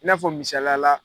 I n'a fɔ misaliya la.